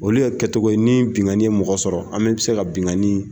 Olu ye kɛ togoye ni bingani yen mɔgɔ sɔrɔ, an bɛ se ka binganiii.